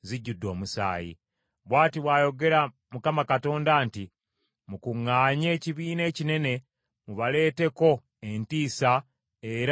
“Bw’ati bw’ayogera Mukama Katonda nti, ‘Mukuŋŋaanye ekibiina ekinene mubaleeteko entiisa era mubanyage.